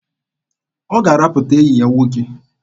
Ọ ga-arapụta enyi ya nwoke.